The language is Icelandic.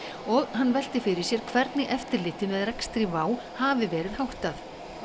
og hann velti fyrir sér hvernig eftirliti með rekstri WOW hafi verið háttað